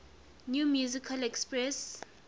new musical express